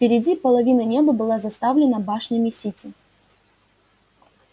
впереди половина неба была заставлена башнями сити